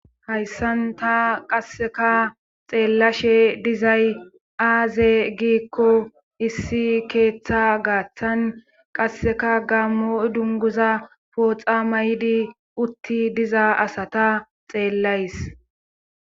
hayssan ta qasseka xeellashe dizay aaze giikko issi keeththa gaaththan qasseka gammo dunguza pooxa may7di utti diza asata xeellays